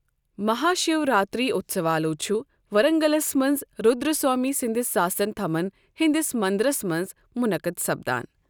مہا شِو راتری اٗتسوالوٗ چھٗ ورنگلس منز رٗدرا سوامی سٕندِس ساس سن تھمن ہندِس مندرس منز مٗنقد سپدان ۔